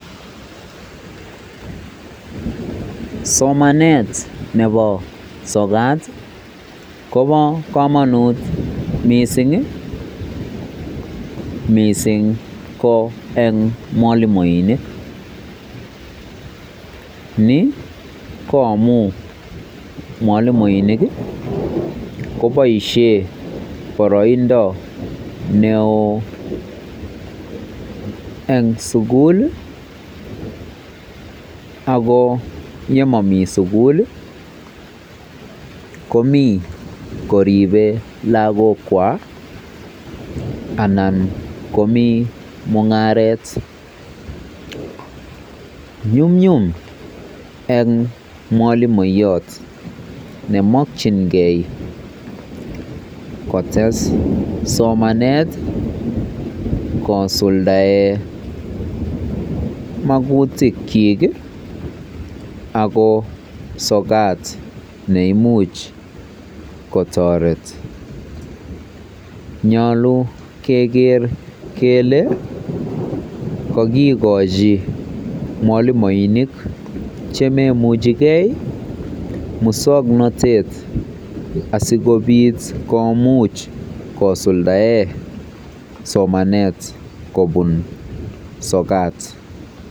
Somanet nebo sokat kobo komonut missing ii missing ko en mwalimuinik, ni ko amun mwalimuinik ii koboisien boroindo neo en sugul ako nemomi sugul ii komi koribe lagokwa anan komi mung'aret, nyumnyum en mwalimuyot nemokyingen kotes somanet kosuldaen mogutikyik ii ako sokat neimuch kotoret, myolu keger kele kogikochi mwalimuinik chemoimuchi gee musong'notet asikobit komuch kosuldaen somanet kobun sokat.